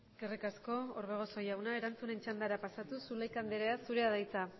eskerrik asko orbegozo jauna erantzunen txandara pasatuz zulaika andre zurea da hitza